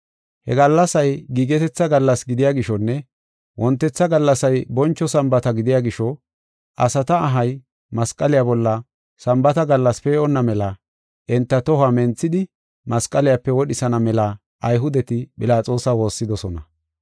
He gallasay giigetetha gallas gidiya gishonne wontetha gallasay boncho Sambaata gidiya gisho, asata ahay masqaliya bolla Sambaata gallas pee7onna mela enta tohuwa menthidi, masqaliyape wodhisana mela Ayhudeti Philaxoosa woossidosona.